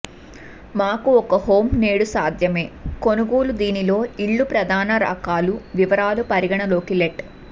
మాకు ఒక హోమ్ నేడు సాధ్యమే కొనుగోలు దీనిలో ఇళ్ళు ప్రధాన రకాలు వివరాలు పరిగణలోకి లెట్